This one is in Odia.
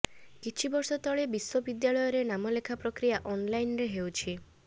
କିଛି ବର୍ଷ ତଳେ ବିଶ୍ବବିଦ୍ୟାଳୟରେ ନାମଲେଖା ପ୍ରକ୍ରିୟା ଅନ୍ଲାଇନ୍ରେ ହେଉଛି